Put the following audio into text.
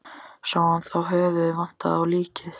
Sá hann þá að höfuðið vantaði á líkið.